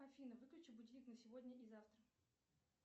афина выключи будильник на сегодня и завтра